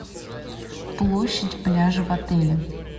площадь пляжа в отеле